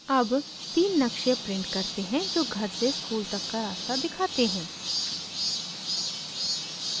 अब तीन नक़्शे print करते हैं जो घर से school तक का रास्ता दिखाते हैं